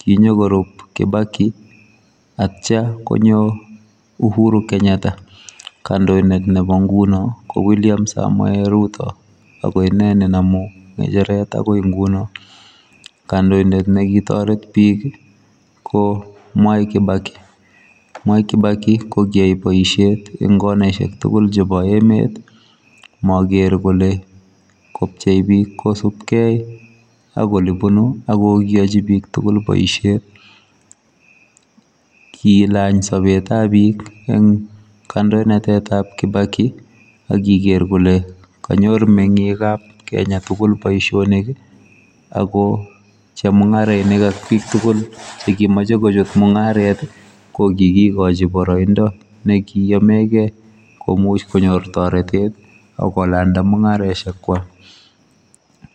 kinikorup kibaki atya konyo uhuru kenyatta kandoindet nebo nguno ko wiliam samoei ruto akoine nenamu ngecheret akoi nguno kandoindet nekitoret bik ko mwai kibaki. Mwai kibaki kokiyai boisiet eng konaishek tugul chebo emet maker kole kopchei bik kosupkei ak olebunu akiyochi pik tugul boisiet kilany sobetab bik eng kandoinatetab kibaki akiker kole kanyor mengikab kenya tugul boisionik ako chemungarainik ak tugul chekimeche kotoi mungaret kokikikochin boroindo nekiyomekei komuch konyor toretet akomuch kolanda mungaresiek kwak